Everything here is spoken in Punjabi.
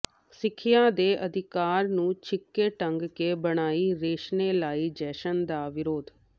ਸਿੱਖਿਆ ਦੇ ਅਧਿਕਾਰ ਨੂੰ ਛਿੱਕੇ ਟੰਗ ਕੇ ਬਣਾਈ ਰੈਸ਼ਨੇਲਾਈਜੇਸ਼ਨ ਦਾ ਵਿਰੋਧ